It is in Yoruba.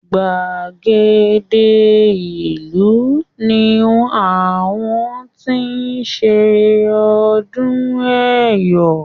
Gbàgede ìlú ní àwọn ti ṣe ọdún Ẹ̀yọ̀.